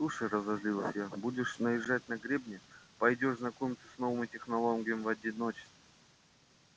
слушай разозлилась я будешь наезжать на гребня пойдёшь знакомиться с новыми технологиями в одиночестве